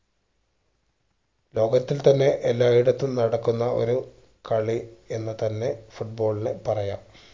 ലോകത്തിൽ തന്നെ എല്ലാ ഇടത്തും ഒരു കളി എന്ന് തന്നെ foot ball നെ പറയാം